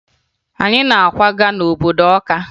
Anyị na-akwaga n'obodo Ọka